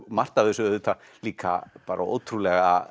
margt af þessu auðvitað líka ótrúlega